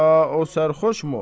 Ya o sərxoşmu?